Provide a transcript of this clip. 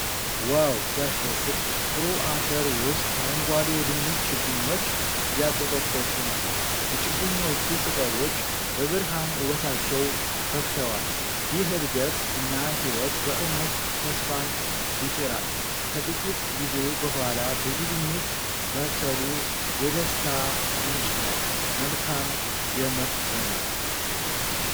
ዋው ሲያስደስት! ጥሩ አፈር ውስጥ አረንጓዴ የድንች ችግኞች እያቆጠቆጡ ነው። የችግኞቹ ቅጠሎች በብርሃን ውበታቸው ፈክተዋል። ይህ እድገት እና ህይወት በእውነት ተስፋን ይጭራል! ከጥቂት ጊዜ በኋላ ብዙ ድንች መብሰሉ የደስታ ምንጭ ነው! መልካም የምርት ዘመን!